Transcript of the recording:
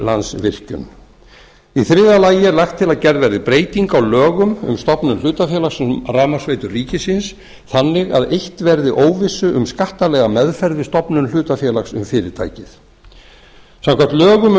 landsvirkjun í þriðja lagi er lagt til að gerð verði breyting á lögum um stofnun hlutafélags um rafmagnsveitur ríkisins þannig að eytt verði óvissu um skattalega meðferð við stofnun hlutafélags um fyrirtækið samkvæmt lögum um